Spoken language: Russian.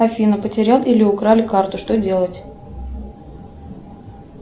афина потерял или украли карту что делать